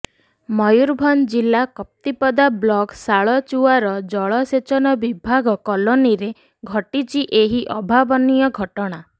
ମୟୁରଭଞ୍ଜ ଜିଲ୍ଲା କପ୍ତିପଦା ବ୍ଳକ୍ ଶାଳଚୁଆର ଜଳସେଚନ ବିଭାଗ କଲୋନିରେ ଘଟିଛି ଏହି ଅଭାବନୀୟ ଘଟଣା